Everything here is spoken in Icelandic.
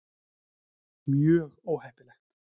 Mjög óheppilegt.